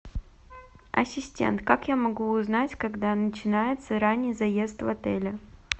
ассистент как я могу узнать когда начинается ранний заезд в отеле